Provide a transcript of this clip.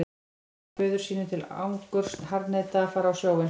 Jason sem föður sínum til angurs harðneitaði að fara á sjóinn.